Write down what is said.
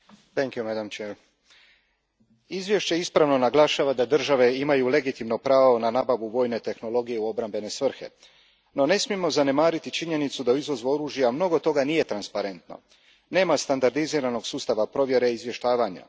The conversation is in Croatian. Gospođo predsjednice, izvješće ispravno naglašava da države imaju legitimno pravo na nabavu vojne tehnologije u obrambene svrhe. No, ne smijemo zanemariti činjenicu da u izvozu oružja mnogo toga nije transparentno, nema standardiziranog sustava provjere i izvještavanja.